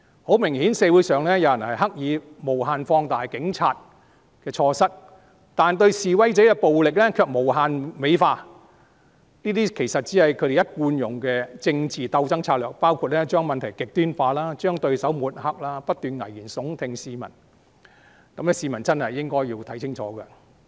很明顯，社會上有人刻意無限放大警察的錯失，但對示威者的暴力卻無限美化，這些其實只是他們一貫使用的政治鬥爭策略，包括將問題極端化、將對手抹黑、不斷向市民危言聳聽，市民真的應該看清楚。